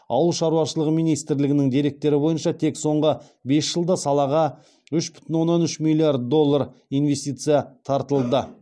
ауыл шаруашылығы министрлігінің деректері бойынша тек соңғы бес жылда салаға үш бүтін оннан үш миллиард доллар инвестиция тартылды